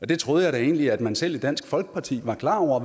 det troede jeg da egentlig at man selv i dansk folkeparti var klar over